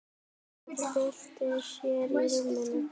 Örn bylti sér í rúminu.